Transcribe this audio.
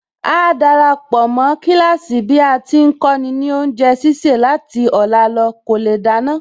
Áá darapọ̀ mó kíláàsì bí a ti ń kọ́ni ní oúnjẹ sísè láti ọ̀la lọ kò lè dáná